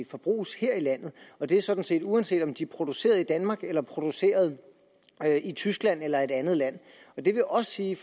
forbruges her i landet og det er sådan set uanset om de er produceret i danmark eller produceret i tyskland eller et andet land det vil også sige